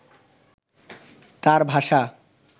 তাঁর ভাষা